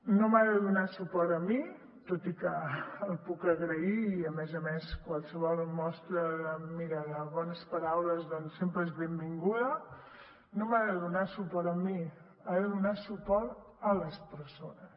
no m’ha de donar suport a mi tot i que el puc agrair i a més a més qualsevol mostra mira de bones paraules doncs sempre és benvinguda ha donar suport a les persones